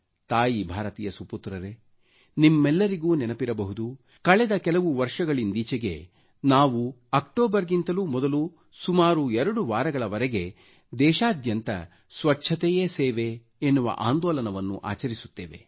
ತಾಯಿ ಭಾರತಿಯ ಸುಪುತ್ರರೇ ನಿಮ್ಮೆಲ್ಲರಿಗೂ ನೆನಪಿರಬಹುದು ಕಳೆದ ಕೆಲವು ವರ್ಷಗಳಿಂದೀಚೆಗೆ ನಾವು ಅಕ್ಟೋಬರ್ಗಿಂತಲೂ ಮೊದಲು ಸುಮಾರು 2 ವಾರಗಳವರೆಗೆ ದೇಶಾದ್ಯಂತ ಸ್ವಚ್ಛತೆಯೇ ಸೇವೆ ಆಂದೋಲನವನ್ನು ಆಚರಿಸುತ್ತೇವೆ